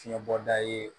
Fiɲɛbɔda ye